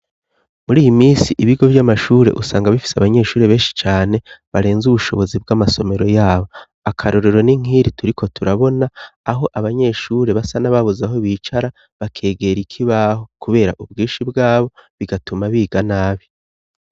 Muri iyi misi ibigo vy'amashure usanga bifise abanyeshure benshi cane barenze ubushobozi bw'amasomero yabo, akarorero ni nkiri turiko turabona aho abanyeshure basa nababuze aho bicara bakegera ikibaho kubera ubwinshi bwabo bigatuma biga nabi.